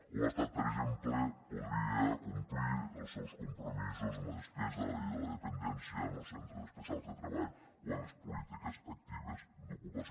o l’estat per exemple podria complir els seus compromisos en la despesa de la llei de la dependència en els centres especials de treball o en les polítiques actives d’ocupació